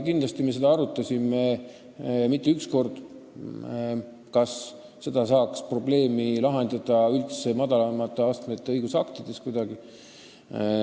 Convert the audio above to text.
Kindlasti me arutasime seda rohkem kui üks kord, kas saaks kuidagi probleemi lahendada madalama astme õigusaktidega.